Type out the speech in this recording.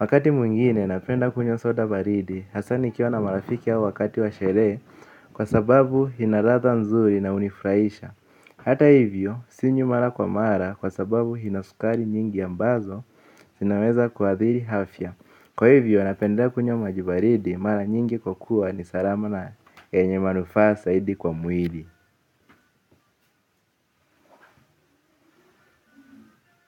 Wakati mwingine napenda kunywa soda baridi hasa nikiwa na marafiki au wakati wa sherehe kwa sababu ina ladha nzuri na hunifurahisha. Hata hivyo sinywi mara kwa mara kwa sababu ina sukari nyingi ambazo zinaweza kuaathiri afya. Kwa hivyo napendlea kunywa maji baridi mara nyingi kwa kuwa ni salama na yenye manufaa zaidi kwa mwili.